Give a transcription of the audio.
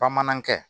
Bamanankɛ